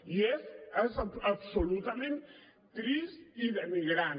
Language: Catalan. i és absolutament trist i denigrant